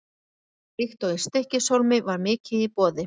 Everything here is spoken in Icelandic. Líkt og í Stykkishólmi var mikið í boði.